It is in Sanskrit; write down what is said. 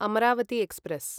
अमरावती एक्स्प्रेस्